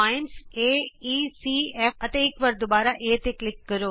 ਬਿੰਦੂ A E C F ਅਤੇ ਇਕ ਵਾਰ ਦੁਬਾਰਾ A ਤੇ ਕਲਿਕ ਕਰੋ